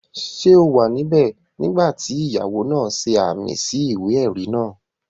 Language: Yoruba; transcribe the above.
Ṣé o wà níbẹ̀ nígbà tí ìyàwó náà ṣe ààmì sí ìwé-ẹ̀rí náà?